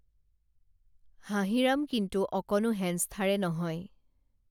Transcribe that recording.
হাঁহিৰাম কিন্তু অকনো হেনস্থাৰে নহয়